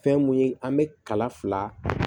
Fɛn mun ye an bɛ kala fila